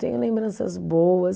Tenho lembranças boas.